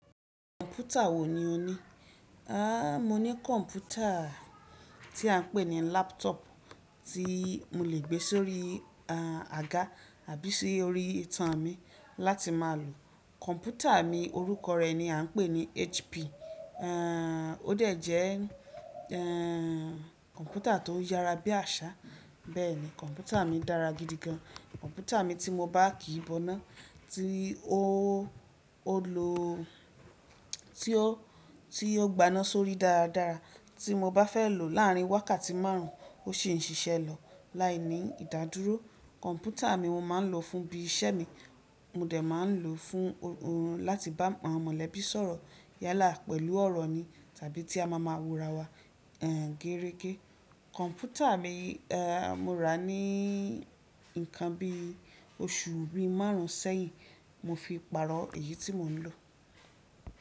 Kọ̀mpútà wo ni o ní? A, mo ní kọ̀mpútà tí a ń pè ní laptop tí mo lè gbé sórí, a, àga àbí sí orí itan mi láti má a lò. Kọ̀mpútà mi orúkọ rẹ̀ ni a ń pè ní HP. Ehn, ó dẹ̀ jẹ́, ehn, kọ̀mpútà tó yára bí àṣá. Bẹ́ẹ̀ ni, kọ̀mpútà mi dára gidi gan. Kọ̀mpútà mi tí mo bá kí i boná tí ó, ó lọ, tí ó, tí ó gbaná sórí dáradára. Tí mo bá fẹ́ lò láárín wákàtí márùn ó sì ń ṣiṣẹ́ lọ láì ní ìdádúró. Kọ̀mpútà mi mo máa ń lò fún bí iṣẹ́ mi, mo dẹ̀ máa ń lò fún ohun láti bá àwọn mọ̀lẹ́bí sọ̀rọ̀ yálà pẹ̀lú ọ̀rọ̀ ni tàbí tí a máa ma wóra wa, ehn, géregé. Kọ̀mpútà mi, ehn, mo rà á ní nǹkan bí oṣù bí márùn sẹ́yìn. Mo fi pàrọ̀ èyí tí mo ń lò.